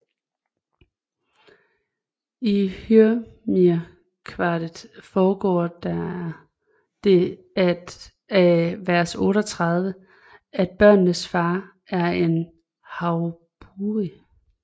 I Hymirskvadet fremgår det af vers 38 at børnenes far er en hraunbúi